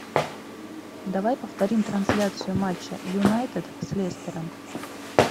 давай повторим трансляцию матча юнайтед с лестером